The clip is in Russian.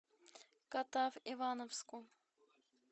катав ивановску